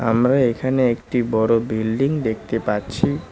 আমরা এখানে একটি বড় বিল্ডিং দেখতে পাচ্ছি।